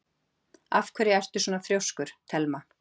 Af hverju ertu svona þrjóskur, Thelma?